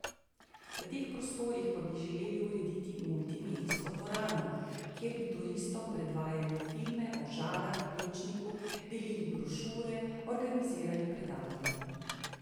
V teh prostorih pa bi želeli urediti multimedijsko dvorano, kjer bi turistom predvajali filme o Žalah, Plečniku, delili brošure, organizirali predavanja.